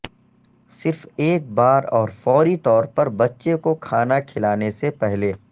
صرف ایک بار اور فوری طور پر بچے کو کھانا کھلانے سے پہلے